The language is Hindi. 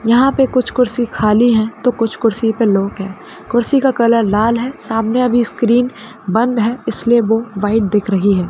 यहाँ पर कुछ कुर्सी खाली है तो कुछ कुर्सी पे लोग है कुर्सी का कलर लाल है सामने अभी स्क्रीन बंद है इसलिए वो वाइट दिख रही है।